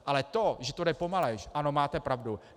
Ale to, že to jde pomaleji, ano, máte pravdu.